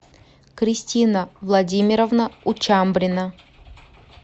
кристина владимировна учамбрина